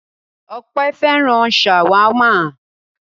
Ọpẹ́ fẹ́ràn ṣàwámà.